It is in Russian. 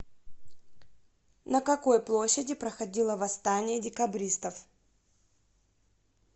на какой площади проходило восстание декабристов